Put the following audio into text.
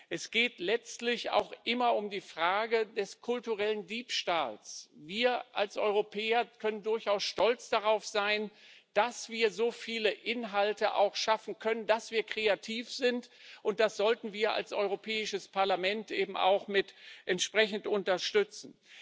Es geht letztlich auch immer um die Frage des kulturellen Diebstahls. Wir als Europäer können durchaus stolz darauf sein, dass wir so viele Inhalte auch schaffen können, dass wir kreativ sind, und das sollten wir als Europäisches Parlament eben auch entsprechend unterstützen.